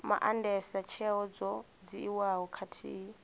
maandesa tsheo dzo dzhiiwaho khathihi